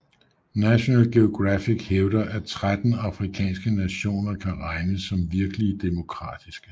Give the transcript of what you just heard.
National Geographic hævder at 13 afrikanske nationer kan regnes som virkelig demokratiske